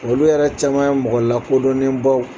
Olu yɛrɛ caman ye mɔgɔ la kodɔnnen baw